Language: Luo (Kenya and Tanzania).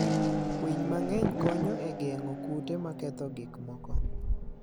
winy mang'eny konyo e geng'o kute maketho gik moko.